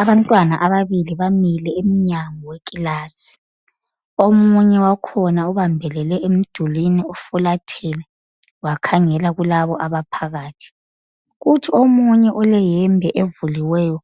Abantwana ababili bamile emnyango wekilasi. Omunye wakhona ubambelele emdulini ufulathele wakhangela kulabo abaphakathi. Kuthi omunye oleyembe evuliweyo